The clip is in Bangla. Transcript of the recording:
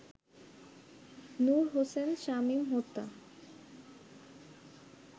নূর হোসেন শামীম হত্যা